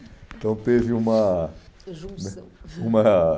Então, teve uma... Junção. Né, uma...